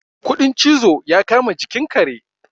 kudin cizo ya kama jikin kare